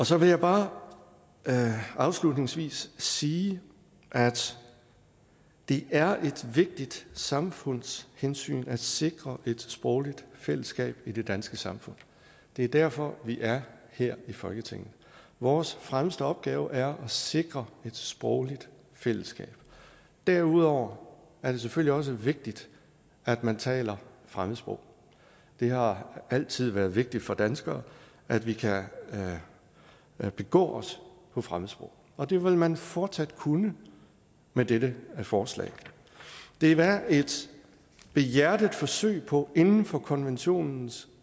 så vil jeg bare afslutningsvis sige at det er et vigtigt samfundshensyn at sikre et sprogligt fællesskab i det danske samfund det er derfor vi er her i folketinget vores fremmeste opgave er at sikre et sprogligt fællesskab derudover er det selvfølgelig også vigtigt at man taler fremmedsprog det har altid været vigtigt for danskere at vi kan begå os på fremmedsprog og det vil man fortsat kunne med dette forslag det er et behjertet forsøg på inden for konventionens